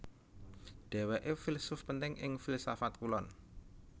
Dhèwèké filsuf penting ing filsafat Kulon